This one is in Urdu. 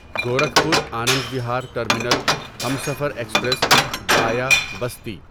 Gorakhpur Anand Vihar terminal Humsafar express via Basti